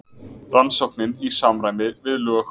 Rannsóknin í samræmi við lög